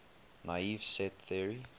naive set theory